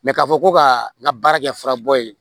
k'a fɔ ko ka na baara kɛ furabɔ ye